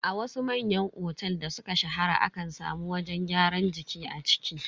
A wasu manyan otel da suka shahara akan samu wajen gyaran jiki a ciki.